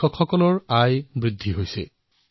কৃষকৰ আয় বৃদ্ধি হৈছে